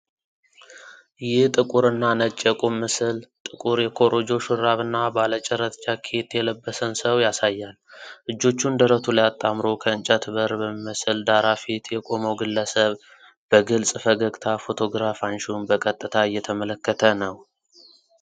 ይህ ጥቁር እና ነጭ የቁም ምስል ጥቁር የኮሮጆ ሹራብና ባለ ጭረት ጃኬት የለበሰን ሰው ያሳያል። እጆቹን ደረቱ ላይ አጣምሮ ከእንጨት በር በሚመስል ዳራ ፊት የቆመው ግለሰብ በግልጽ ፈገግታ ፎቶግራፍ አንሺውን ቀጥታ እየተመለከተ ነው።